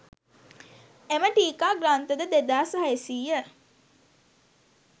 එම ටීකා ග්‍රන්ථද 2600